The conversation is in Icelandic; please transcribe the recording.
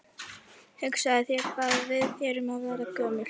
Hugsaðu þér hvað við erum að verða gömul.